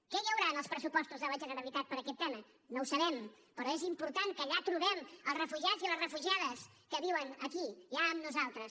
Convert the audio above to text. què hi haurà en els pressupostos de la generalitat per a aquest tema no ho sabem però és important que allà trobem els refugiats i les refugiades que viuen aquí ja amb nosaltres